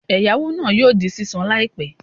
Ẹ̀yáwó náà yóò di sísan láìpẹ́